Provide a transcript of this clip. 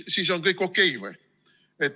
Siis on kõik okei või?